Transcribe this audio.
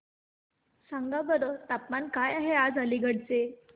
सांगा बरं तापमान काय आहे आज अलिगढ चे